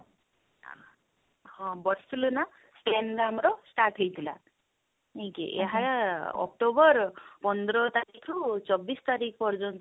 ହଁ ବସିଥିଲେ ନା then ଆମର start ହେଇଥିଲା ନାଇକି ଏହା october ପନ୍ଦର ତାରିଖ ରୁ ଚବିଶ ତାରିଖ ପର୍ଯ୍ୟନ୍ତ